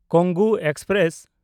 Kongu express